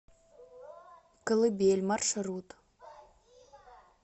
колыбель маршрут